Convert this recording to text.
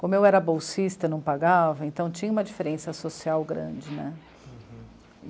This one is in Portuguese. Como eu era bolsista, não pagava, então tinha uma diferença social grande, né? Uhum.